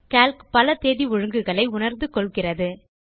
Calc பல தேதி ஒழுங்குகளை உணர்ந்து கொள்கிறது